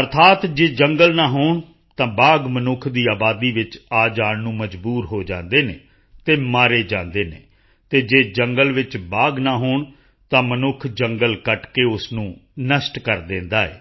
ਅਰਥਾਤ ਜੇ ਜੰਗਲ ਨਾ ਹੋਣ ਤਾਂ ਬਾਘ ਮਨੁੱਖ ਦੀ ਆਬਾਦੀ ਵਿੱਚ ਆ ਜਾਣ ਨੂੰ ਮਜਬੂਰ ਹੋ ਜਾਂਦੇ ਹਨ ਅਤੇ ਮਾਰੇ ਜਾਂਦੇ ਹਨ ਅਤੇ ਜੇ ਜੰਗਲ ਵਿੱਚ ਬਾਘ ਨਾ ਹੋਣ ਤਾਂ ਮਨੁੱਖ ਜੰਗਲ ਕੱਟ ਕੇ ਉਸ ਨੂੰ ਨਸ਼ਟ ਕਰ ਦਿੰਦਾ ਹੈ